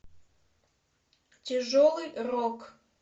тяжелый рок